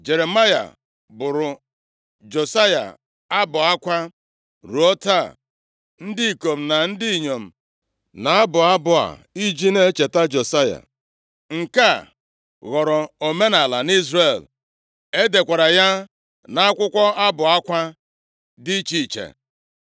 Jeremaya bụụrụ Josaya abụ akwa, ruo taa ndị ikom na ndị inyom na-abụ abụ a iji na-echeta Josaya. Nke a ghọrọ omenaala nʼIzrel, e dekwara ya nʼakwụkwọ abụ akwa dị iche iche.